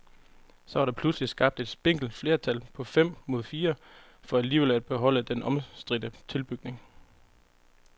Så var der pludselig skabt et spinkelt flertal på fem mod fire for alligevel at beholde den omstridte tilbygning.